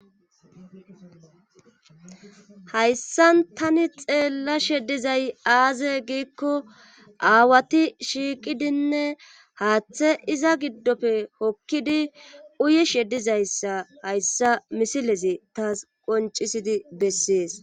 hayssan tani xeellashe dizay aaze giikko aawati shiiqidinne haaththe iza giddofe hokkidi uyishe sheddizayssa hayssa misilezi taas qoncisidi bessees.